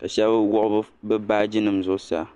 ka shɛba wuɣi bi baaji nima zuɣusaa.